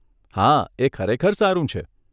હા, એ ખરેખર સારું છે.